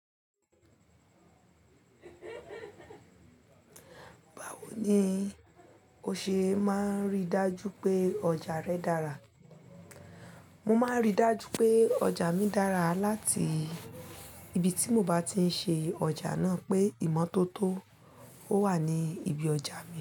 Bawo ni o ṣe máa ń rí dájú pé ọjà rẹ dára? Mo máa ń rí dájú pé ọjà mi dára láti ibi tí mo bá ti ń ṣe ọjà náà pé ìmọ́tótó o wà ní ibi ọjà mi.